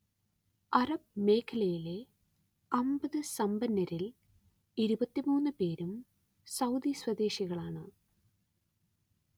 Arab മേഖലയിലെ അമ്പത് സമ്പന്നരിൽ ഇരുപത്തിമൂന്നു പേരും സൗദി സ്വദേശികളാണ്